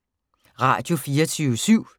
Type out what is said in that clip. Radio24syv